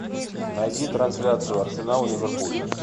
найди трансляцию арсенал ливерпуль